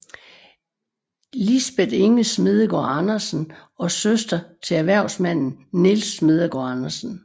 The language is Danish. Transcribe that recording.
Lisbeth Inge Smedegaard Andersen og søster til erhvervsmanden Nils Smedegaard Andersen